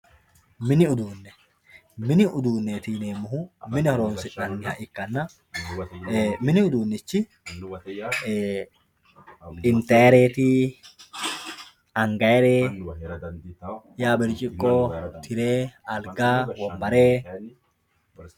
mini uduune mini uduunneeti yineemmohu mine horoonsi'nayha ikkanna mini uduunnichi intayreti angayreeti yaa bircciqqo tire alga wonbare